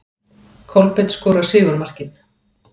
Kolbeinn skorar sigurmarkið.